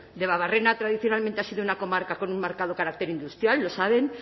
debabarrena tradicionalmente ha sido una comarca con un marcado carácter industrial lo saben